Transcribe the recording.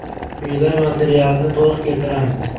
Quyida materialni to‘liq keltiramiz.